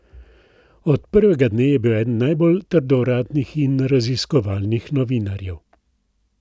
Od prvega dne je bil eden najbolj trdovratnih in raziskovalnih novinarjev.